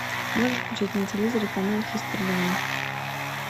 можешь включить на телевизоре канал хистори два